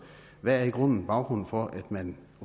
hvad er i grunden baggrunden for at man